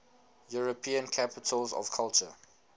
european capitals of culture